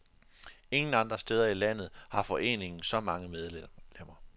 Ingen andre steder i landet har foreningen så mange medlemmer.